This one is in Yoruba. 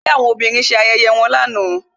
Ẹgbẹ́ àwọn obìnrin ṣe ayẹyẹ wọn lánàá